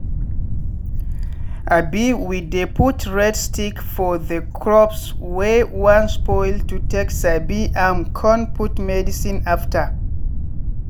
um we dey put red stick for the crops wey wan spoil to take sabi am con put medicine after.